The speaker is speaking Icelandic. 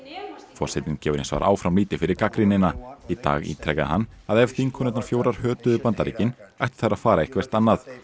forsetinn gefur hins vegar áfram lítið fyrir gagnrýnina í dag ítrekaði hann að ef þingkonurnar fjórar hötuðu Bandaríkin ættu þær að fara eitthvert annað